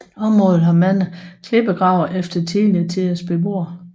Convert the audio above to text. Området har mange klippegrave efter tidligere tiders beboere